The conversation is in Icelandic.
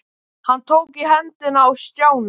Hann tók í hendina á Stjána.